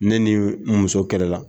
Ne ni n muso kɛlɛla